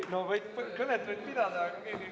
V a h e a e g